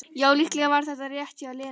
Já, líklega var það rétt hjá Lenu.